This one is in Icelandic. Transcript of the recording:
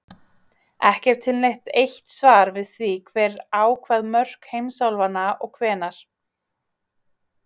Ekki er til neitt eitt svar við því hver ákvað mörk heimsálfanna og hvenær.